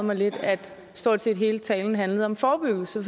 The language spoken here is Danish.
mig lidt at stort set hele talen handlede om forebyggelse